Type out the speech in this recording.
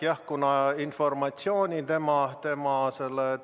Jah, aga kuna informatsiooni tema